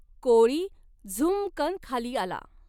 कोळी झूऽऽमकन खाली आला.